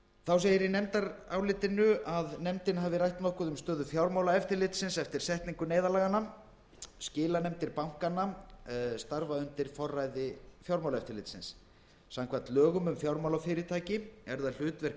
þá segir í nefndarálitinu að nefndin hafi rætt nokkuð um stöðu fjármálaeftirlitsins eftir setningu neyðarlaganna skilanefndir bankanna starfa undir forræði fjármálaeftirlitsins samkvæmt lögum um fjármálafyrirtæki er það hlutverk